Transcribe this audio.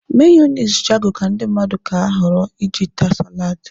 Meyoniz Jago ka ndị mmadụ ka họrọ iji taa saladi.